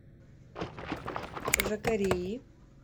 жакареи